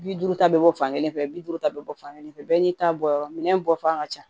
Bi duuru ta bɛ bɔ fankelen fɛ bi duuru ta bɛ bɔ fan kelen fɛ bɛɛ n'i ta bɔ yɔrɔ minɛn bɔfan ka ca